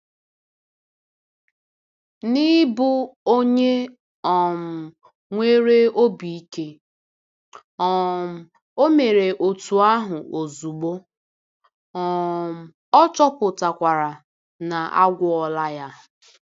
N'ịbụ onye um nwere obi ike, um o mere otú ahụ ozugbo, um ọ chọpụtakwara na a gwọọla ya.